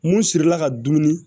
Mun sirila ka dumuni